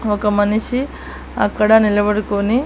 ఒక మనిషి అక్కడ నిలబడుకొని.